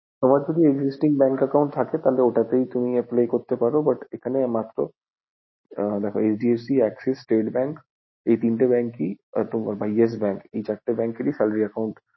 তোমার কোনো existing bank account থাকলে তাহলে তুমি ওটা তাই apply করতে পারো, but এখানে HDFC, AXIS, STATE BANK, এই তিনটে bank ই best bank এই চারটি bank এ salary account applicable